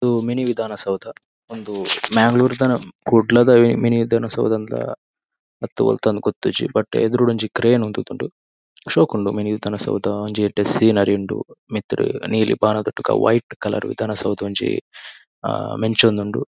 ಉಂದು ಮಿನಿ ವಿಧಾನ ಸೌಧ ಉಂದು ಮಂಗಳೂರದ ಕುಡ್ಲದ ಮಿನಿ ವಿಧಾನ ಸೌಧ ಅಂದ್ ಲಾ ಅತ್ ವೋಲ್ತಾ ಅಂದ್ ಗೊತ್ತಿಜ್ಜಿ. ಬಟ್ ಯೆದುರುಡು ಒಂಜಿ ಕ್ರೇನ್ ಉಂತುದುಂಡ್ ಶೋಕ್ ಉಂಡು ಮಿನಿ ವಿಧಾನ ಸೌಧ ಒಂಜಿ ಯೆಡ್ಡೆ ಸೀನರಿ ಉಂಡು ಮಿತ್ಡ್ ನೀಲಿ ಬಾಣದೊಟ್ಟುಗು white colour mini Vidhana Soudha ಮಿಂಚೊಂದಉಂಡು.